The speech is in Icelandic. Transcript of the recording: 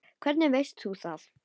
Hvernig veist þú það?